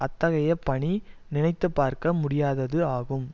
அத்தகைய பணி நினைத்து பார்க்க முடியாதது ஆகும்